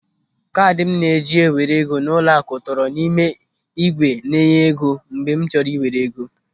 Kaadị m na-eji ewere ego n'ụlọaku tọrọ n'ime ígwè na-enye ego mgbe m chọrọ ị were ego.